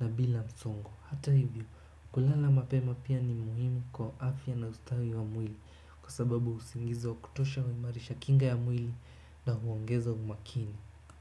na bila msongo hata hivyo, kulala mapema pia ni muhimu kwa afya na ustawi wa mwili, kwa sababu usingizi wa kutosha huimarisha kinga ya mwili na huongeza umakini.